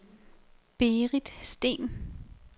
Berit Steen